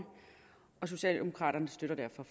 socialdemokraterne støtter derfor